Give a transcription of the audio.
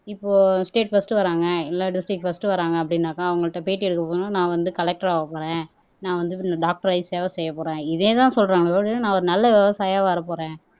இப்போ state first வர்றாங்க எல்லா டிஸ்ட்ரிக்ட் பர்ஸ்ட் வராங்க அப்படின்னாக்க அவங்கள்ட்ட பேட்டி எடுக்க போனா நான் வந்து கலெக்டர் ஆகப் போறேன் நான் வந்து டாக்டர் ஆகி சேவை செய்யப் போறேன் இதேதான் சொல்றாங்களே ஒழிய நான் ஒரு நல்ல விவசாயியா வரப் போறேன்